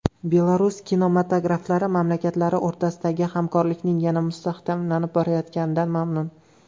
Belarus kinematograflari mamlakatlari o‘rtasidagi hamkorlikning yana mustahkamlanib borayotganidan mamnun.